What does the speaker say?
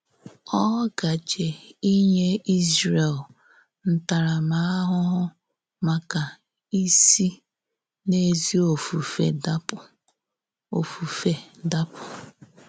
Ọ gàjè ínyè Ízrè̀l ntàrámàhụhụ màkà ísì n’èzí òfùfé dàpù. òfùfé dàpù.